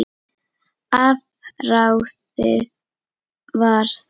Afráðið var að